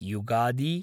Yugadi